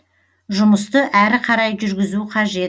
жұмысты әрі қарай жүргізу қажет